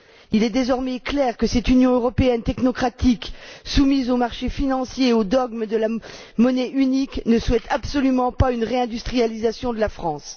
Il est désormais clair que cette Union européenne technocratique soumise aux marchés financiers et aux dogmes de la monnaie unique ne souhaite absolument pas une réindustrialisation de la France.